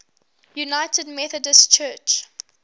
united methodist church